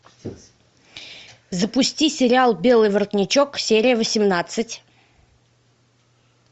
запусти сериал белый воротничок серия восемнадцать